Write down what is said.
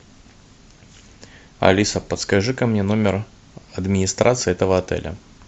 алиса подскажи ка мне номер администрации этого отеля